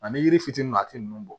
Ani yiri fitini maa ti nunnu bɔ